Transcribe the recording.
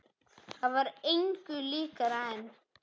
Það var engu líkara en.